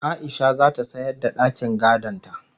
A'isha zata sayar da dakin gadon ta